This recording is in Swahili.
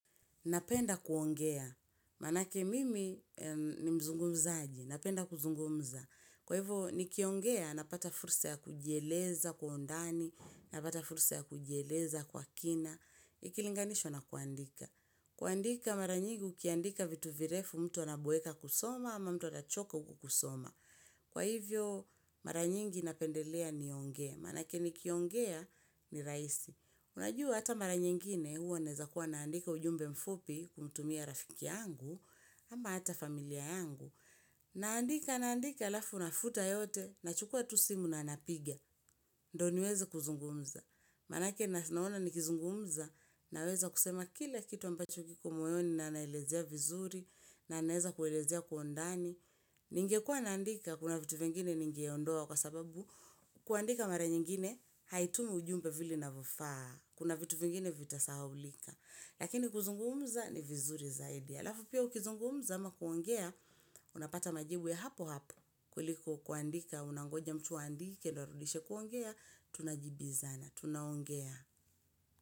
Napenda kuongea. Maanake mimi ni mzungumzaji. Napenda kuzungumza. Kwa hivyo nikiongea, napata fursa ya kujieleza kwa undani, napata fursa ya kujieleza kwa kina. Ikilinganishwa na kuandika. Kuandika mara nyingi ukiandika vitu virefu mtu anaboeka kusoma ama mtu anachoka kwa kusoma. Kwa hivyo, mara nyingi napendelea niongee, maanake nikiongea ni rahisi. Unajua hata mara nyingine huwa naweza kuwa naandika ujumbe mfupi kumtumia rafiki yangu, ama hata familia yangu. Naandika, naandika alafu nafuta yote, nachukua tu simu na napigia, ndio niweze kuzungumza. Maanake naona nikizungumza, naweza kusema kila kitu ambacho kiko moyoni na naelezea vizuri, na naeza kuelezea kwa undani. Ningekua naandika kuna vitu vingine ningeondoa kwa sababu kuandika mara nyingine haitumi ujumbe vile inavofaa. Kuna vitu vingine vitasahaulika. Lakini kuzungumza ni vizuri zaidi alafu pia ukizungumza ama kuongea unapata majibu ya hapo hapo kuliko kuandika unangoja mtu aandike ndio arudishe. Kuongea tunajibizana tunaongea.